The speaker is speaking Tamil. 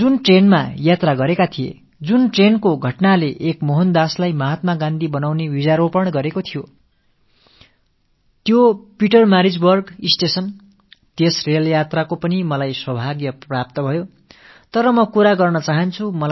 காந்தியடிகள் எந்த ரயிலில் பயணித்தாரோ எந்த ரயிலில் நடந்த நிகழ்வு மோஹந்தாஸை காந்தியடிகளாக மாற்றும் விதையை விதைத்ததோ அந்த பீட்டர்மாரிட்ஸ்பர்க் ரயில் நிலையத்துக்குப் பயணம் மேற்கொள்ளக் கூடிய நல்வாய்ப்பு எனக்குக் கிட்டியது